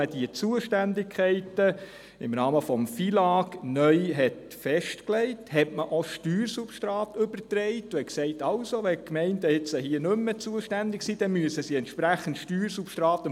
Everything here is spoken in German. Als die Zuständigkeiten im Rahmen des FILAG neu festgelegt wurden, übertrug man auch Steuersubstrate und sagte, wenn die Gemeinden jetzt nicht mehr dafür zuständig seien, dann müssten sie dem Kanton entsprechend Steuersubstrate geben.